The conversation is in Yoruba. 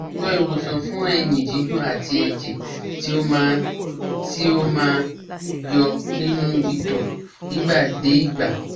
So iwosan fun eyin didun at eje ti o ma ti o ma yo ninu ito nigba de igba